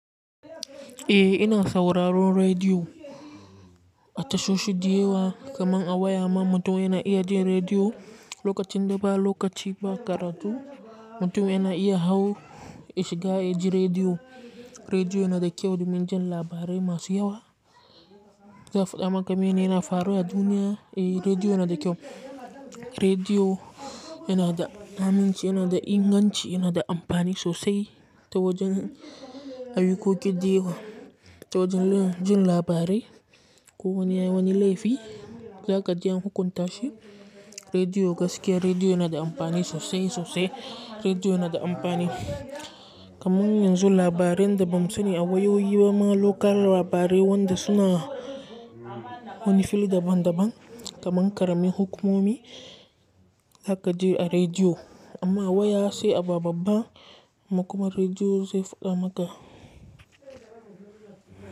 Eh ina sauraron rediyo a tashoshi diyawa, kamar a waya man mutum yana iya jin rediyo, lokacin da ba lokaci ba karatu, mutum yana iya hau ya shiga ya ji rediyo. Rediyo yana da kyau domin jan labarai masu yawa, za su faɗa maka me ne yana faruwa a duniya. Eh rediyo yana da kyau. Rediyo yana da aminci, yana da inganci, yana da amfani sosai ta wajen ayyiko ki dayewa, ta wajen jin labarai ko wani wani laifi za ka je an hukunta shi rediyo gaskiya rediyo yana da amfani sosai sosai, rediyo yana da amfani, kamar yanzu labaran da bam sani a wayoyi bama lokal labarai wanda suna wani fili daban daban kamar karemi hukumomi za ka ji a rediyo amma a waya sai a ba babba, kuma rediyo zai faɗa maka.